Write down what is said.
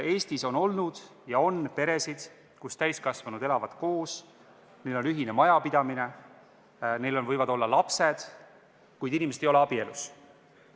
Eestis on olnud ja on peresid, kus täiskasvanud elavad koos, neil on ühine majapidamine, neil võivad olla lapsed, kuid inimesed ei ole abielus.